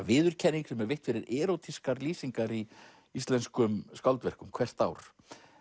viðurkenning sem er veitt fyrir erótískar lýsingar í íslenskum skáldverkum hvert ár